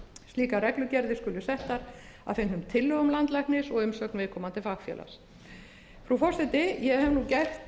slíkar reglugerðir skulu settar að fengnum tillögum landlæknis og umsögn viðkomandi fagfélags frú forseti ég hef nú gert